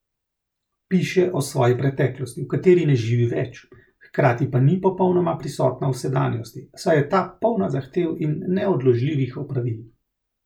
Piše o svoji preteklosti, v kateri ne živi več, hkrati pa ni popolnoma prisotna v sedanjosti, saj je ta polna zahtev in neodložljivih opravil.